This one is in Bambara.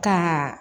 Ka